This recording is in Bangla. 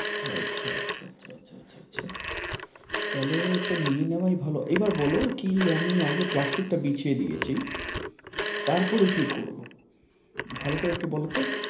আচ্ছা আচ্ছা আচ্ছা আচ্ছা আচ্ছা আচ্ছা তাহলে তো নিয়ে নেওয়াই ভালো। এবার বলো কি আমি আগে plastic টা বিছিয়ে দিয়েছি, তারপরে কি করবো? ভালো করে একটু বলো তো।